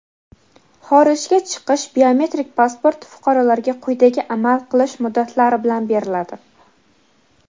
Xorijga chiqish biometrik pasporti fuqarolarga quyidagi amal qilish muddatlari bilan beriladi:.